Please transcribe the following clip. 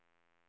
Ovanåker